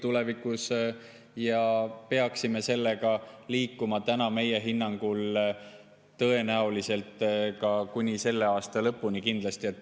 Me peaksime sellega liikuma meie hinnangul tõenäoliselt kuni selle aasta lõpuni kindlasti edasi.